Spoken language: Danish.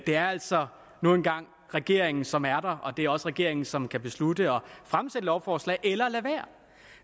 det er altså nu engang regeringen som er der og det er også regeringen som kan beslutte at fremsætte lovforslag eller lade være